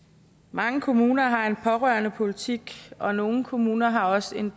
mange kommuner har en pårørendepolitik og nogle kommuner har også en